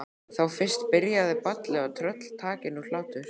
Þá fyrst byrjaði ballið og tröll taki nú hlátur.